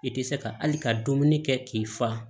I tɛ se ka hali ka dumuni kɛ k'i fa